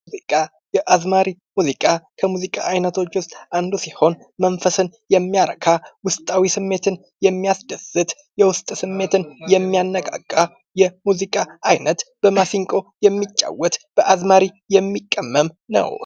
ሙዚቃ፡-ያዝማሪ ሙዚቃ ከሙዚቃ አይነቶች ውስጥ አንዱ ሲሆን መንፈስን የሚያረካ፣ የውስጥ ስሜትን የሚያስደስት፣ የውስጥ ስሜትን የሚያነቃቃ የሙዚቃ አይነት በማሲንቆ የሚጫወት በአዝማሪ የሚቀመም የሙዚቃ አይነት ነው ።